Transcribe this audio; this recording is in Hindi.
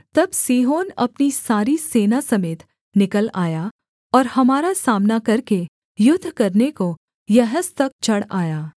तब सीहोन अपनी सारी सेना समेत निकल आया और हमारा सामना करके युद्ध करने को यहस तक चढ़ आया